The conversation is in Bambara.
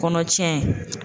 Kɔnɔ tiɲɛ.